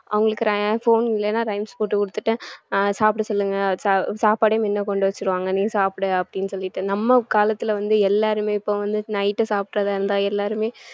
அவங்களுக்கு rhy~ phone இல்லைன்னா rhymes போட்டு கொடுத்துட்டு அஹ் சாப்பிட சொல்லுங்க சா~ சாப்பாடையும் முன்ன கொண்டு வச்சிருவாங்க நீ சாப்பிடு அப்படின்னு சொல்லிட்டு நம்ம காலத்துல வந்து எல்லாருமே இப்போ night சாப்பிடுறதா இருந்தா எல்லாருமே